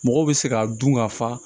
Mɔgɔw bɛ se k'a dun ka fa